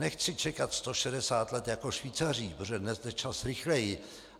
Nechci čekat 160 let jako Švýcaři, protože dnes jde čas rychleji.